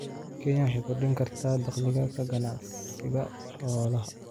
Kenya waxay ku kordhin kartaa dakhliga ka ganacsiga xoolaha.